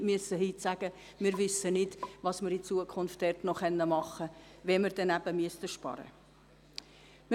Nicht dass wir heute sagen müssen, wir wissen nicht, was wir in Zukunft noch machen können, weil wir vielleicht sparen müssen.